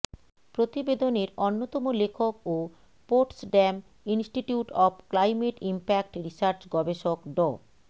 প্রতিবেদনের অন্যতম লেখক ও Potsdam Institute of Climate Impact Research গবেষক ড